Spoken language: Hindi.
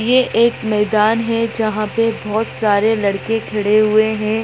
ये एक मैदान है जहां पे बहुत सारे लड़के खड़े हुए है।